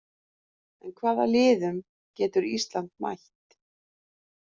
En hvaða liðum getur Ísland mætt?